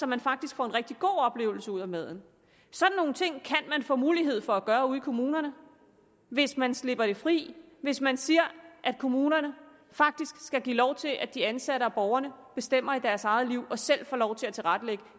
man faktisk får en rigtig god oplevelse ud af maden sådan nogle ting kan de få mulighed for at gøre ude i kommunerne hvis man slipper det fri hvis man siger at kommunerne faktisk skal give lov til at de ansatte og borgerne bestemmer i deres eget liv og selv får lov til at tilrettelægge